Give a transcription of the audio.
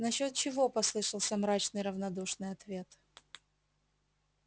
насчёт чего послышался мрачный равнодушный ответ